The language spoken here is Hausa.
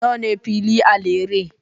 Nawa ne fili a Lere?